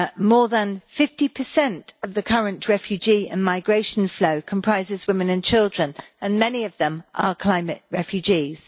More than 50 of the current refugee and migration flow comprises women and children and many of them are climate refugees.